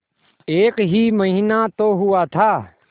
एक ही महीना तो हुआ था